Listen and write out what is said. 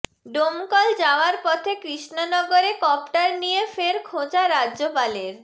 ডোমকল যাওয়ার পথে কৃষ্ণনগরে কপ্টার নিয়ে ফের খোঁচা রাজ্যপালের